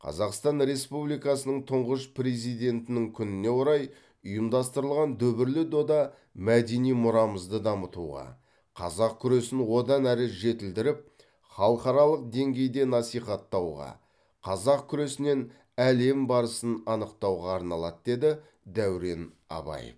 қазақстан республикасының тұңғыш президентінің күніне орай ұйымдастырылған дүбірлі дода мәдени мұрамызды дамытуға қазақ күресін одан ары жетілдіріп халықаралық деңгейде насихаттауға қазақ күресінен әлем барысын анықтауға арналады деді дәурен абаев